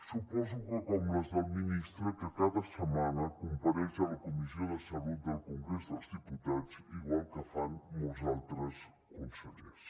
suposo que com les del ministre que cada setmana compareix a la comissió de salut del congrés dels diputats igual que fan molts altres consellers